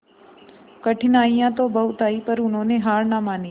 कठिनाइयां तो बहुत आई पर उन्होंने हार ना मानी